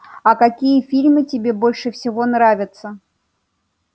а какие фильмы тебе больше всего нравятся